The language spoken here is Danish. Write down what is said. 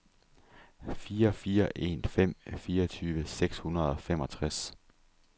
fire fire en fem fireogtyve seks hundrede og femogtres